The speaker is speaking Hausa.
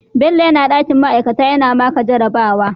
Bello yana dakin ma'aikata yana maka jarabawa